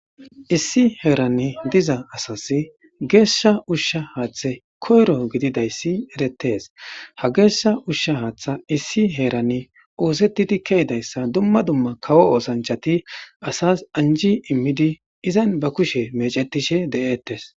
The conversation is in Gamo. Issi heeran diiza asas geshsha ushsha haththay koyro giididaysi erettes ha geshsha ushsha haththa issi heeran oththetidi keidayssa dumma dumma kawo oththanchati asas anji immidi izan be keshshe meccetishshe de'ettes